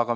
Aga